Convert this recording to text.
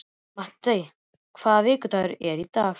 Matti, hvaða vikudagur er í dag?